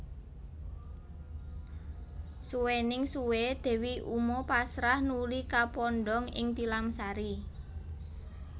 Suwéning suwé Dewi uma pasrah nuli kapondhong ing tilamsari